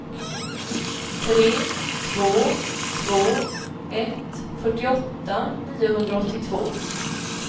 tre två två ett fyrtioåtta niohundraåttiotvå